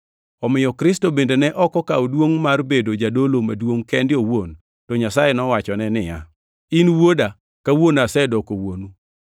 Omiyo Kristo bende ne ok okawo duongʼ mar bedo jadolo maduongʼ kende owuon. To Nyasaye nowachone niya, “In Wuoda, kawuono asedoko Wuonu.” + 5:5 \+xt Zab 2:7\+xt*